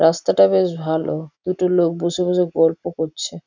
রাস্তাটা বেশ ভালো দুটো লোক বসে বসে গল্প করছে ।